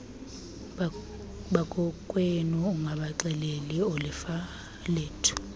bakokwenu ungabaxeleli oolifalethu